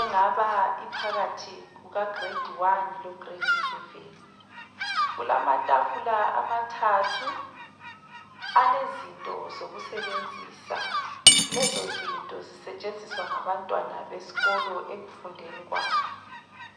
engaba iphakathi kuka giredi wani lo giredi seveni, kulamatafula amathathu alezinto zokusebenzisa, lezo zinto zisetshenziswa ngabantwana besikolo ekufundeni kwabo.